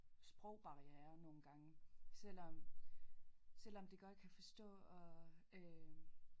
Sprogbarriere nogle gange selvom selvom de godt kan forstå og øh